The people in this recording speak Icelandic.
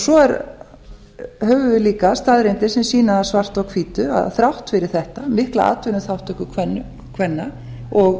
svo höfum við líka staðreyndir sem sýna það svart á hvítu að þrátt fyrir þetta mikla atvinnuþátttöku kvenna og